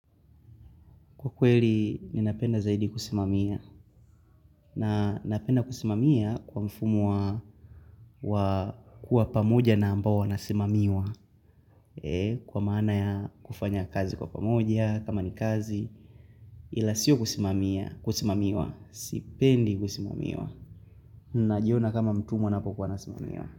Kwa kweli, ninapenda zaidi kusimamia. Na napenda kusimamia kwa mfumo wa kuwa pamoja na ambao wanasimamiwa. Kwa maana ya kufanya kazi kwa pamoja kama ni kazi. Ila sio kusimamia, kusimamiwa. Sipendi kusimamiwa. Najiona kama mtumwa napokuwa nasimamiwa.